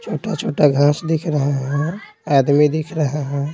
छोटा-छोटा घास दिख रहा है आदमी दिख रहा है।